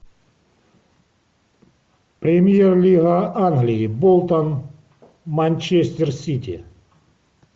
премьер лига англии болтон манчестер сити